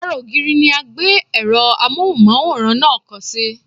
Ara ògiri ni a gbé èrò Amóhùnmáwòrán náà kọ́ sí.